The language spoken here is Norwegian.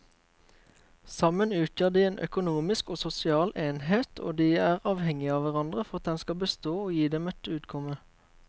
Sammen utgjør de en økonomisk og sosial enhet og de er avhengige av hverandre for at den skal bestå og gi dem et utkomme.